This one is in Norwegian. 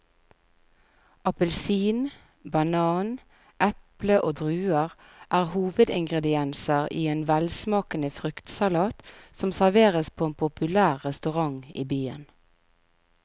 Appelsin, banan, eple og druer er hovedingredienser i en velsmakende fruktsalat som serveres på en populær restaurant i byen.